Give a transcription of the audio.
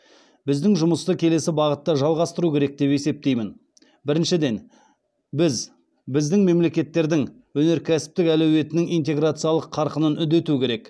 біздің жұмысты келесі бағытта жалғастыру керек деп есептеймін біріншіден біз біздің мемлекеттердің өнеркәсіптік әлеуетінің интеграциялық қарқынын үдету керек